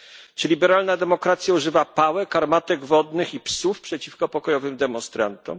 Czy liberalna demokracja używa pałek, armatek wodnych i psów przeciwko pokojowym demonstrantom?